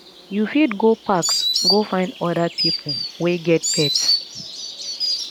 you fit go parks go find oda pipo wey get pets